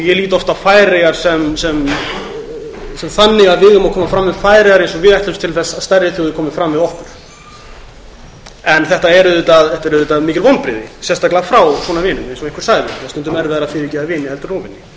ég lít oft á færeyjar sem þannig að við eigum að koma fram við þær eins og við ætlumst til að stærri þjóðir komi fram við okkur þetta eru samt mikil vonbrigði sérstaklega frá svona vinum eins og einhver sagði er stundum erfiðara að fyrirgefa vini en óvini maður